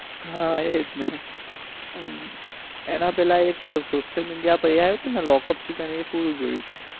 હા એ જ ને એના પેલા એક social media પઇ આવ્યું હતું ને એ lockup season એ પૂરું જોયું છે.